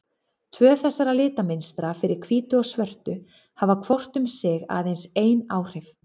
Tvö þessara litamynstra, fyrir hvítu og svörtu, hafa hvort um sig aðeins ein áhrif.